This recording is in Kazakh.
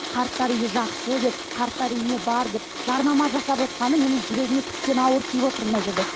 қарттар үйі жақсы деп қарттар үйіне бар деп жарнама жасап отырғаны менің жүрегіме тіптен ауыр тиіп отыр мына жерде